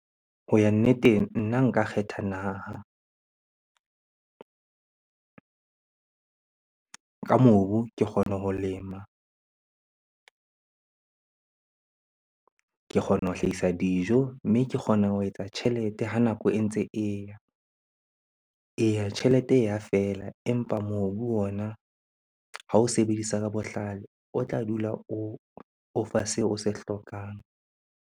Ho ya nneteng, nna nka kgetha naha. Ka mobu ke kgona ho lema, ke kgona ho hlahisa dijo, mme ke kgona ho etsa tjhelete ha nako e ntse e ya. Eya, tjhelete e ya fela empa mobu ona ha o sebedisa ka bohlale o tla dula o fa seo o se hlokang.